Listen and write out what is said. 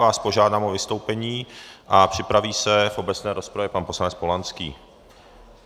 Vás požádám o vystoupení a připraví se v obecné rozpravě pan poslanec Polanský.